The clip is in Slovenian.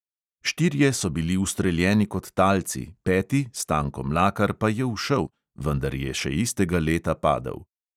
Štirje so bili ustreljeni kot talci, peti stanko mlakar pa je ušel, vendar je še istega leta padel.